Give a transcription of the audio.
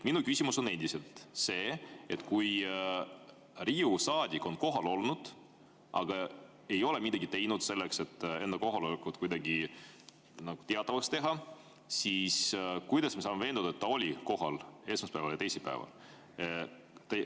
Minu küsimus on endiselt see, et kui Riigikogu saadik on kohal olnud, aga ei ole midagi teinud selleks, et enda kohalolekut kuidagi teatavaks teha, siis kuidas me saame veenduda, et ta oli kohal esmaspäeval ja teisipäeval?